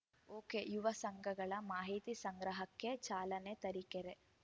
ಒಕೆಯುವ ಸಂಘಗಳ ಮಾಹಿತಿ ಸಂಗ್ರಹಕ್ಕೆ ಚಾಲನೆ ತರೀಕೆರೆ